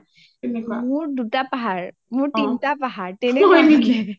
মোৰ দুটা পাহাৰ , তিনটা পাহাৰ তেনেকুৱা থাকে